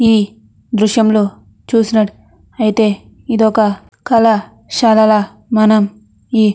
ఈ దృశ్యంలో చూసినట్ అయితే ఇది ఒక కళ శరవ మనం ఈ--